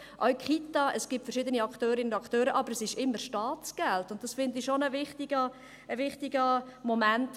Auch bei Kitas gibt es verschiedenen Akteurinnen und Akteure, aber es ist immer Staatsgeld, und das finde ich schon ein wichtiges Moment.